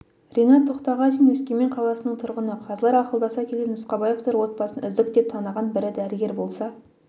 ринат тоқтағазин өскемен қаласының тұрғыны қазылар ақылдаса келе нұсқабаевтар отбасын үздік деп таныған бірі дәрігер болса